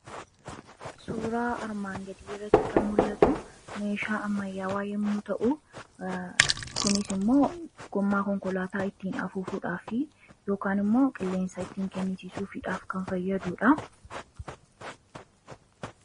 Suuraa armaan gadii irratti kan mul'atu meeshaa ammayyaawaa yemmuu ta'u kunis immoo gommaa konkolaataa ittiin afuufuudhaaf yookaan immoo qilleensa ittiin kennisiisuufiidhaaf kan fayyadudha.